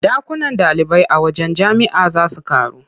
Ɗakunan ɗalibai a wajen jami'a za su ƙaru.